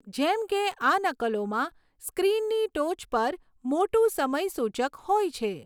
જેમ કે આ નકલોમાં સ્ક્રીનની ટોચ પર મોટું સમય સૂચક હોય છે.